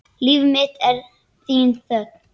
Líf mitt er þín þögn.